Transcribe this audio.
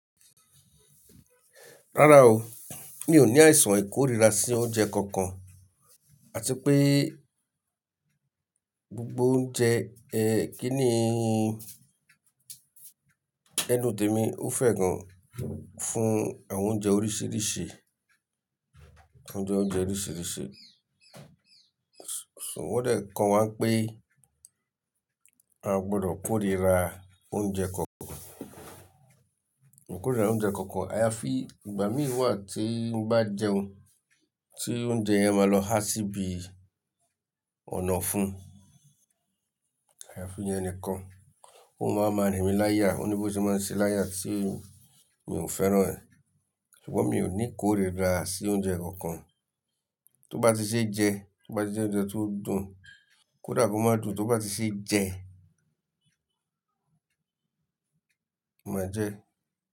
Rárá o, mi ò ní àìsàn ìkóríra sí oúnjẹ kankan àti pé gbogbo oúnjẹ ẹ kíni ẹnu tèmi ó fẹ́ gan fún àwọn oúnjẹ oríṣìíríṣìí, oúnjẹ oríṣìíríṣìí. Ṣùgbọ́n wọ́n dẹ̀ kọ́ wa wípé a kò gbọdọ̀ kóríra oúnjẹ kankan, kóríra oúnjẹ kankan. Àyàfi ìgbà mìíràn wa tí n bá jẹun, tí oúnjẹ yẹn máa lọ há síbi ọ̀nà ọ̀fún, àyàfi ìyẹn nìkan. Ó máa maa rìn mí láya, òní bó ti máa ṣe láya tí mi ò fẹ́ràn ẹ̀. Ṣùgbọ́n mi ò ní kóríra sí oúnjẹ kankan. Tó bá ti ṣe jẹ, tó bá ti jẹ oúnjẹ tó dùn, kódà kó máa dùn, tó bá ti ṣe jẹ, màá jẹẹ́.